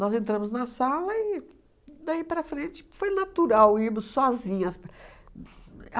Nós entramos na sala e daí para frente foi natural, íamos sozinhas para.